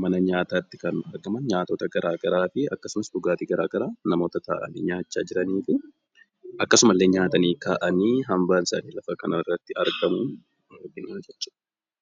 mana nyaataatti argaman nyaatota garaagaraati. Akkasumas namoota taa'anii nyaachaa jiranii fi akkasumallee nyaatanii ka'anii hambaan isaanii lafa kanarratti argamu jiru jechuudha.